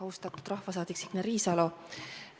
Austatud rahvasaadik Signe Riisalo!